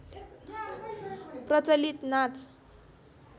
प्रचलित नाच